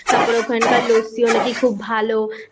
ভালো পাওয়া যায় তারপর ওখানকার LASSI ও নাকি খুব ভালো